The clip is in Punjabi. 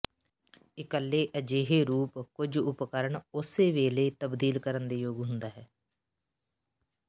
ਇਕੱਲੇ ਅਜਿਹੇ ਰੂਪ ਕੁਝ ਉਪਕਰਣ ਉਸੇ ਵੇਲੇ ਤਬਦੀਲ ਕਰਨ ਦੇ ਯੋਗ ਹੁੰਦਾ ਹੈ